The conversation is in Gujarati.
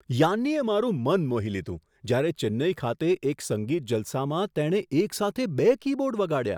યાન્નીએ મારું મન મોહી લીધું જ્યારે ચેન્નઈ ખાતે એક સંગીત જલસામાં તેણે એક સાથે બે કીબોર્ડ વગાડ્યા.